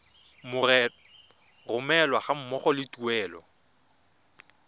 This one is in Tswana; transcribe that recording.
romelwa ga mmogo le tuelo